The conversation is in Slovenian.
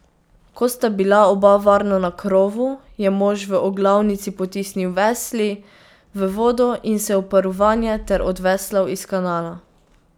Ko sta bila oba varno na krovu, je mož v oglavnici potisnil vesli v vodo in se uprl vanje ter odveslal iz kanala.